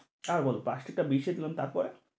আর বলো প্লাষ্টিক টা বিছিয়ে নিলাম তারপরে?